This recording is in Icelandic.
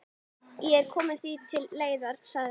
Ég kom því til leiðar, sagði hann.